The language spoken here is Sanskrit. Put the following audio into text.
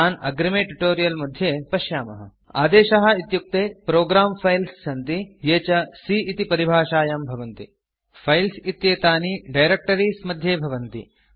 तान् अग्रिमे ट्यूटोरियल् मध्ये पश्यामः आदेशाः इत्युक्ते प्रोग्रं फाइल्स् सन्ति ये च C इति परिभाषायां भवन्ति फाइल्स् इत्येतानि डायरेक्टरीज़ मध्ये भवन्ति